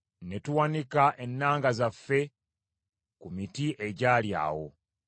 Ne tuwanika ennanga zaffe ku miti egyali awo.